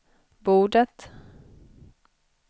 bordet